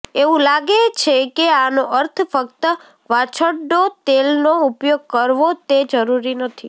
એવું લાગે છે કે આનો અર્થ ફક્ત વાછરડો તેલનો ઉપયોગ કરવો તે જરૂરી નથી